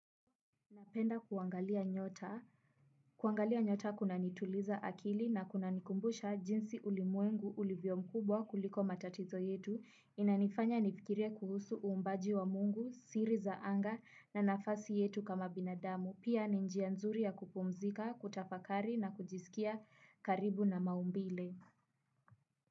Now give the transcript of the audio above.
Napenda kuangalia nyota. Kuangalia nyota kunanituliza akili na kunanikumbusha jinsi ulimwengu ulivyo mkubwa kuliko matatizo yetu. Inanifanya nifikirie kuhusu uumbaji wa Mungu, siri za anga na nafasi yetu kama binadamu. Pia ni njia nzuri ya kupumzika, kutafakari na kujiskia karibu na maumbile.